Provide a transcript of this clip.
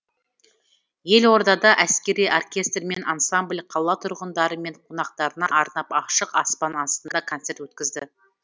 елордада әскери оркестр мен ансамбль қала тұрғындары мен қонақтарына арнап ашық аспан астында концерт өткізді